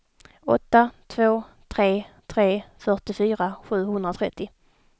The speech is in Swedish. åtta två tre tre fyrtiofyra sjuhundratrettio